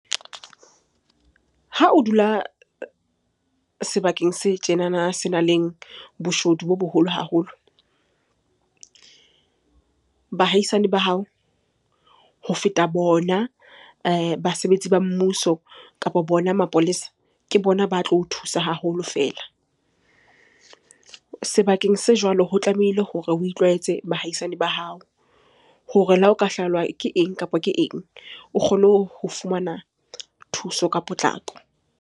Ha o dula sebakeng se tjenana senang leng boshodu bo boholo haholo. Bahaisane ba hao, ho feta bona basebetsi ba mmuso kapa bona mapolesa, ke bona ba tlo o thusa haholo feela. Sebakeng se jwalo ho tlamehile hore o itlwaetse bahaisane ba hao hore le ha o ka hlahelwa ke eng kapa ke eng? O kgone ho fumana thuso ka potlako.